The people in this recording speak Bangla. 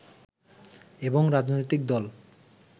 এবং রাজনৈতিক দল